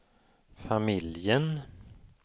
familjen